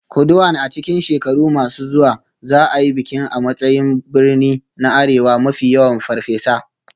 Kuduan a cikin shekaru masu zuwa za a yi bikin a matsayin birni na arewa mafi yawan Farfesa.